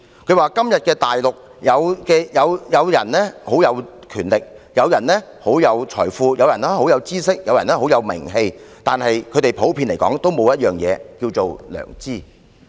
他說，今天的大陸有人很有權力，有人很有財富，有人很有知識，有人很有名氣，但普遍來說，他們均沒有一樣東西，就是良知。